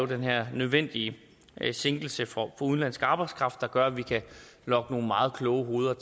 den her nødvendige sænkelse for udenlandsk arbejdskraft der gør at vi kan lokke nogle meget kloge hoveder